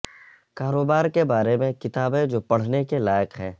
کاروبار کے بارے میں کتابیں جو پڑھنے کے لائق ہیں